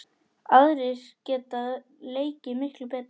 Aðrir geta leikið miklu betur.